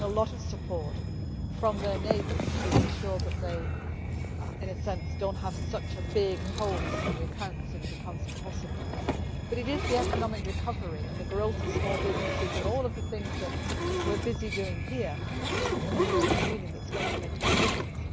They are getting a lot of support from their neighbours to ensure that they do not have such a big hole in the accounts that it becomes impossible, but it is the economic recovery the growth of small businesses and all the things that we are busy doing here in the European Union that is going to make a big difference.